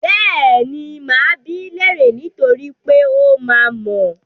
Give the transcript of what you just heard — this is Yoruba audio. Bẹ́ẹ̀ni, máa bi í léèrè niítorí pé ó máa mọ̀ ọ́n.